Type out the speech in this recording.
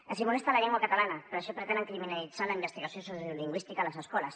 els molesta la llengua catalana per això pretenen criminalitzar la investigació sociolingüística a les escoles